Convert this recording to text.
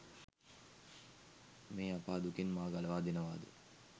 මේ අපා දුකෙන් මා ගලවා දෙනවාද?